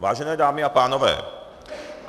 Vážené dámy a pánové.